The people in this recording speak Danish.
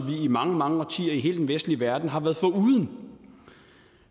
i mange mange årtier i hele den vestlige verden har været foruden